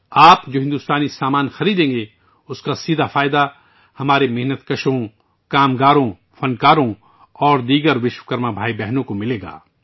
ہمارے مزدوروں، محنت کشوں، کاریگروں اور دیگر وشوکرما بھائیوں اور بہنوں کو آپ کی طرف سے خریدی جانے والی بھارتی اشیا کا براہ راست فائدہ ملے گا